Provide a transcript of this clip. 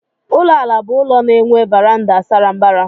Ụlọ àlà bụ ụlọ na-enwe varanda sara mbara.